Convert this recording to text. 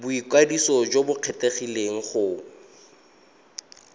boikwadiso jo bo kgethegileng go